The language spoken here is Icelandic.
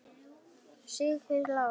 Siggi Lár.